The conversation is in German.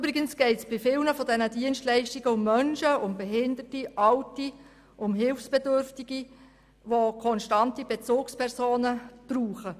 Übrigens geht es bei vielen dieser Dienstleistungen um Menschen, etwa um Behinderte, Alte und Hilfsbedürftige, die konstante Bezugspersonen benötigen.